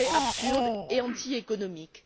Ce serait absurde et antiéconomique.